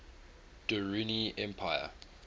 durrani empire